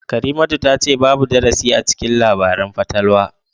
Karimatu tace babu darasi acikin labaran fatalwa